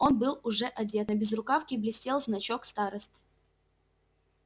он был уже одет на безрукавке блестел значок старосты